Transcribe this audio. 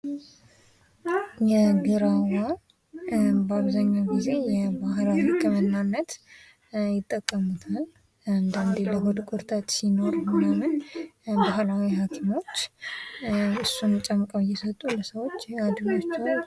የግራዋ በአብዘሀኛው ጊዜ ለባህል ህክምናነት ይጠቀሙታል ፤ አንዳንድ ጊዜ የሆድ ቁርጠት ሲኖር ምናምን ባህላዊ ሀኪሞች እሱን ጨምቀው እየሰጡ ለሰዎች ያድኗቸዋል።